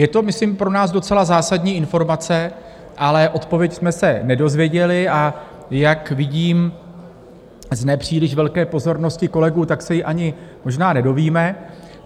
Je to, myslím, pro nás docela zásadní informace, ale odpověď jsme se nedozvěděli, a jak vidím z nepříliš velké pozornosti kolegů, tak se ji ani možná nedozvíme.